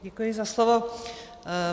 Děkuji za slovo.